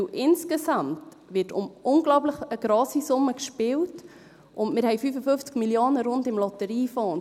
Denn insgesamt wird um eine unglaublich grosse Summe gespielt, und wir haben rund 55 Mio. im Lotteriefonds.